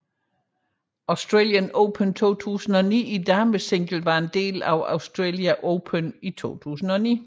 Australian Open 2009 i damesingle var en del af Australian Open 2009